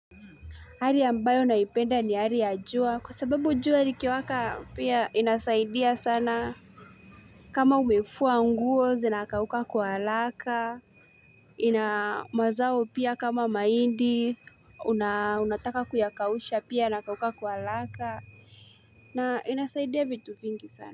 Hali ambayo naipenda ni hari ya jua, kwa sababu jua liki waka pia inasaidia sana. Kama umefua nguo zinakauka kwa alaka, inamazao pia kama maindi, unataka kuyakausha pia inakauka kwa alaka, na inasaidia vitu vingi sana.